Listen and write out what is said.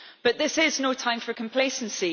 But this is no time for complacency